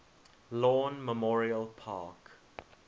lawn memorial park